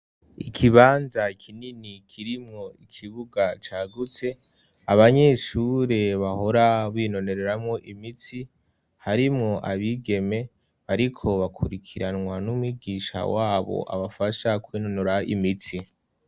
Ikibanza kinini kirimwo ikibuga cagutse, abanyeshure bahora binonereramo imitsi, harimwo abigeme bariko bakurikiranwa n'umwigisha wabo abafasha kwinonora imitsi.